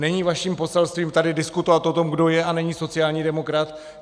Není vaším poselstvím tady diskutovat o tom, kdo je a není sociální demokrat!